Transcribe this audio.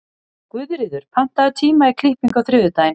Guðríður, pantaðu tíma í klippingu á þriðjudaginn.